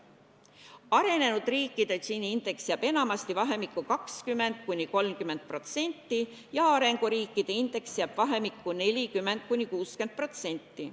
Arenenud riikide Gini indeks jääb enamasti vahemikku 20–30% ja arenguriikide indeks jääb vahemikku 40–60%.